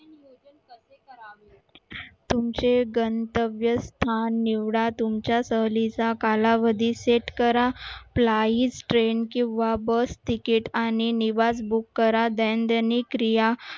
तुमचे गणतव्य स्थान निवडा तुमच्या सहलीचा कालावधी set करा train किंवा bus टिकीट आणि निवास book करा दैनंदिन क्रिया